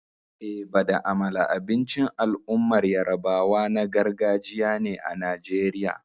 Eba da amala abincin al'ummar yarabawa na gargajiya ne a Najeriya.